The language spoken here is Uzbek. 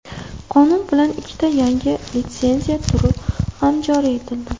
Qonun bilan ikkita yangi litsenziya turi ham joriy etildi.